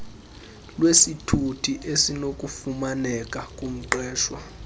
lwesithuthi esinokufumaneka kumqeshwa